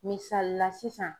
Misali la sisan